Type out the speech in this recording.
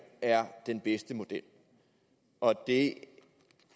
er den bedste model og at det